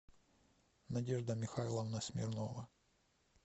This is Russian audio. надежда михайловна смирнова